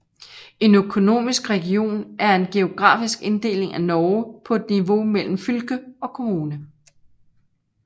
En Økonomisk region er en geografisk inddeling af Norge på et niveau mellem fylke og kommune